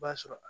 B'a sɔrɔ